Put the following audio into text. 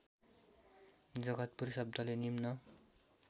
जगतपुर शब्दले निम्न